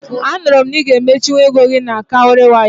Anụrụ m na ị ga emechinwu ego gị na Cowrywise